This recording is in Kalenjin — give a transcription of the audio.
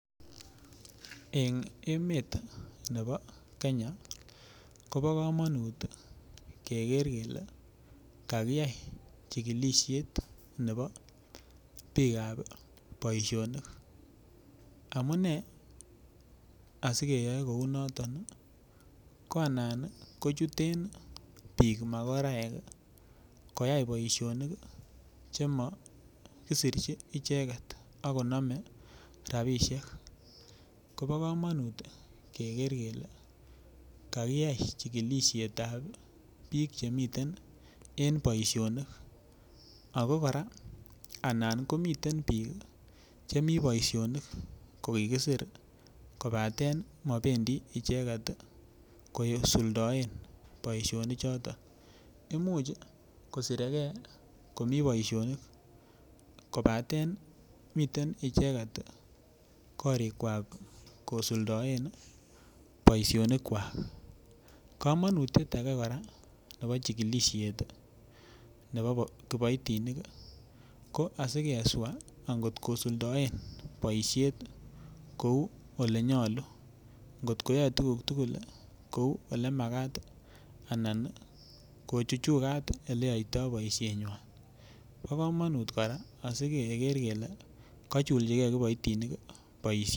En emet nebo Kenya kobo kamanut keger kele kagiyai chigilisiet nebo bikap emet Che tindoi boisionik amune si keyoi kounoton ko anan kochuten bik makoraek koyai boisionik Che makisirchi icheget ak konome rabisiek kobo kamanut keger kele kakiyai chigilisiet ab bik chemiten en boisionik ago kora komiten bik Che mi boisionik ko kigisir kobaten mobendi icheget kosuldaen boisionichuto Imuch kosire ge komi komi boisionik kobaten miten icheget korikwak kosuldaen boisinik kwak kamanutiet age kora nebo chigilisiet nebo kiboitinik ko asi keswa angot kosuldaen boisiet kou Ole nyolu angot koyoe tuguk tugul kou Ole Makat anan kochuchugat Ole yoitoi boisienyi bo kamanut asi keger kele kachulchige kiboitinik boisiet